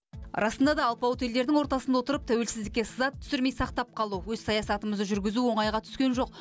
расында да алпауыт елдердің ортасында отырып тәуелсіздікке сызат түсірмей сақтап қалу өз саясатымызды жүргізу оңайға түскен жоқ